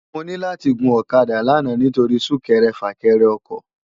Mò ni làti gún òkàdá làná nitóri súkèrè fâkèrè òkò